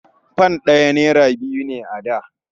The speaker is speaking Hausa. Fam ɗaya naira biyu ne a da.